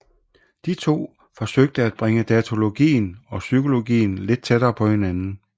De to forsøgte at bringe datalogien og psykologien lidt tættere på hinanden